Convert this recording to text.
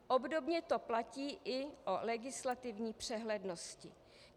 Obdobně to platí i o legislativní přehlednosti.